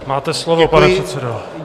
Máte slovo, pane předsedo.